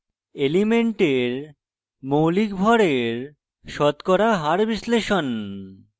elemental মৌলিক ভড়ের শতকরা হার % বিশ্লেষণ